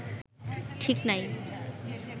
ঠিক নাই